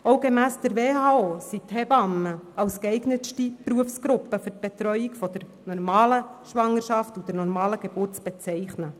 Auch gemäss der World Health Organization (WHO) sind die Hebammen als geeignetste Berufsgruppe für die Betreuung bei der normalen Schwangerschaft und der normalen Geburt zu bezeichnen.